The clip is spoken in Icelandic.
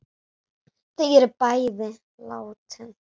Þau eru bæði látin.